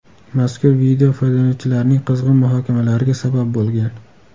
Mazkur video foydalanuvchilarning qizg‘in muhokamalariga sabab bo‘lgan.